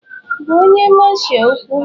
Gwa onye Masha okwu!